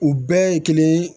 U bɛɛ ye kelen